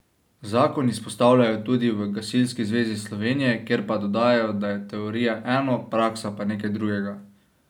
Zakon izpostavljajo tudi v Gasilski zvezi Slovenije, kjer pa dodajajo, da je teorija eno, praksa pa nekaj drugega.